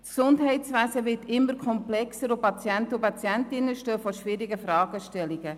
Das Gesundheitswesen wird immer komplexer, und die Patienten und Patientinnen stehen vor schwierigen Fragen.